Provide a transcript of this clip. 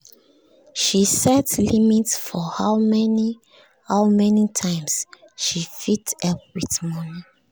she set limit for how many how many times she fit help with money